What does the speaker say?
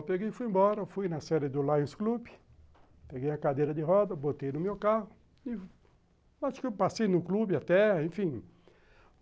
Eu peguei e fui embora, fui na série do Lions Club, peguei a cadeira de roda, botei no meu carro, acho que eu passei no clube até, enfim.